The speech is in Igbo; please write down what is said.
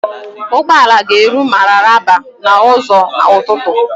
Ụgbọala ga-eru Mararaba n'ụzọ ụtụtụ.